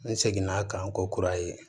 N segin'a kan n ko kuraye